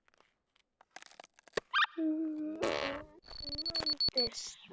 Sögu án endis.